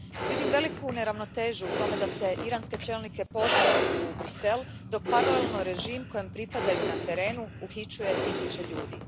Vidim veliku neravnotežu u tome da se iranske čelnike poziva u Bruxelles dok paralelno režim kojemu pripadaju na terenu uhićuje tisuće ljudi.